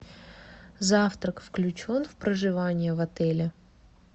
завтрак включен в проживание в отеле